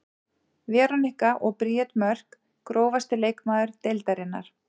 Veronika og Bríet Mörk Grófasti leikmaður deildarinnar?